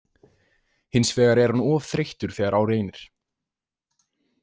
Hins vegar er hann of þreyttur þegar á reynir.